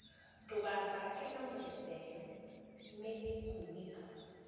Ndũgathake na metha ĩyo nĩ ĩkũnĩka